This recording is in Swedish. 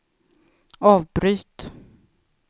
avbryt